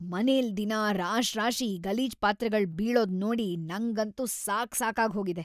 ಮನೆಲ್ ದಿನಾ ರಾಶ್ರಾಶಿ ಈ ಗಲೀಜ್ ಪಾತ್ರೆಗಳ್‌ ಬೀಳೋದ್ ನೋಡಿ ನಂಗಂತೂ ಸಾಕ್‌ಸಾಕಾಗೋಗಿದೆ.